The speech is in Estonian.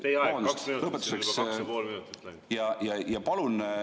Teie aeg on kaks minutit, kaks ja pool minutit on juba läinud.